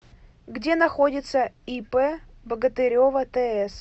где находится ип богатырева тс